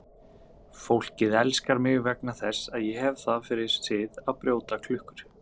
Fólkið elskar mig vegna þess að ég hef það fyrir sið að brjóta klukkur.